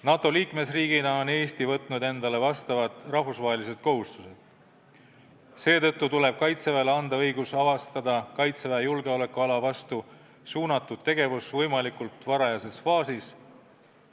NATO liikmesriigina on Eesti võtnud endale vastavad rahvusvahelised kohustused, seetõttu tuleb Kaitseväele anda õigus püüda avastada Kaitseväe julgeolekuala vastu suunatud tegevus võimalikult varajases faasis.